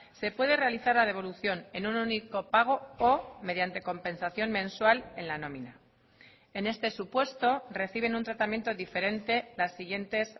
se puede realizar la devolución en un único pago o mediante compensación mensual en la nómina en este supuesto reciben un tratamiento diferente las siguientes